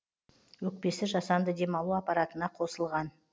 өкпесі жасанды демалу аппаратына қосылған